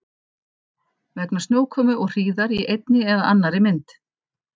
Vegna snjókomu og hríðar í einni eða annarri mynd.